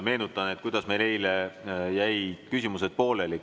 Meenutan, kuidas meil eile küsimused pooleli jäid.